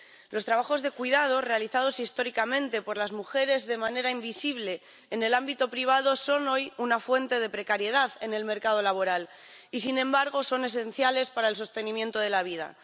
Los trabajos de cuidados, realizados históricamente por las mujeres de manera invisible en el ámbito privado, son hoy una fuente de precariedad en el mercado laboral y, sin embargo, son esenciales para el sostenimiento de la vida.